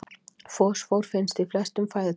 Fosfór finnst í flestum fæðutegundum.